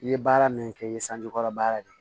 I ye baara min kɛ i ye sanji kɔrɔ baara de